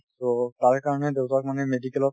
to তাৰ কাৰণে দেউতাক মানে medical ত